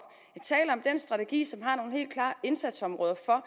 den strategi som har nogle helt klare indsatsområder for